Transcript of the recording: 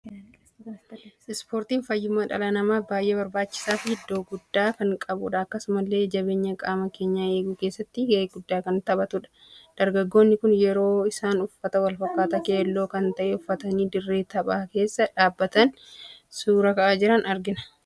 Spoortiin faayyumma dhala namaf baay'ee barbaachisaa fi iddoo guddaa kan qabudha. Akkasumallee jabeenya qaama keenya eeguuu keessatti ga'ee gudda kan taphatudha. Dargaggoonni kun yeroo isaan uffata wal fakkata keelloo kan ta'e uffatani dirree taphaa keessa dhaabbatani suuraa ka'aa jiran argina.